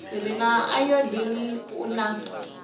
re na ayodini u na